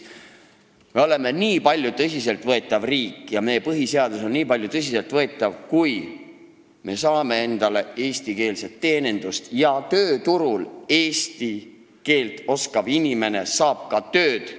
Me oleme tõsiselt võetav riik ja meie põhiseadus on tõsiselt võetav, kui meie teenindus on eestikeelne ja kui eesti keelt oskav inimene saab tööturul tööd.